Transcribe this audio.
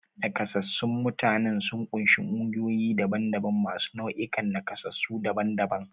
Nakasassun mutanen sun ƙunshi ƙungiyoyi daban-daban masu nau'ikan nakasassu daban-daban.